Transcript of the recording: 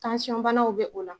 tansiɔn banaw bɛ o la